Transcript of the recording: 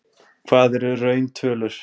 Aðstæður hér í Keflavík eru ekki þær bestu.